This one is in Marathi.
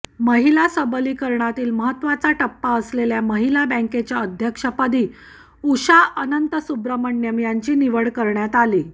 महिला सबलीकरणातील महत्त्वाचा टप्पा असलेल्या महिला बँकेच्या अध्यक्षपदी उषा अनंतसुब्रह्मण्यम यांची निवड करण्यात आली